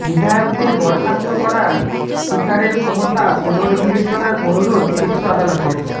বিধায়কদের বরখাস্ত করার স্পিকারের ক্ষমতা পুনর্বিবেচনার অনুরোধ শীর্ষ আদালতের